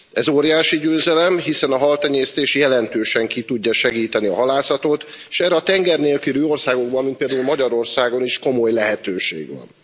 Ez óriási győzelem, hiszen a haltenyésztés jelentősen ki tudja segíteni a halászatot, s erre a tenger nélküli országokban mint például Magyarországon is komoly lehetőség van.